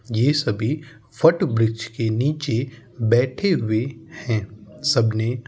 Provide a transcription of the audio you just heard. ये सभी फट वृक्ष के नीचे बैठे हुए हैं सबने --